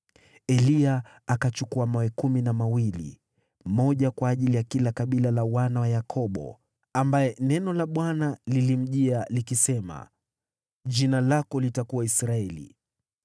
Eliya akachukua mawe kumi na mawili, moja kwa ajili ya kila kabila la wana wa Yakobo, ambaye neno la Bwana lilimjia, likisema, “Jina lako litakuwa Israeli.”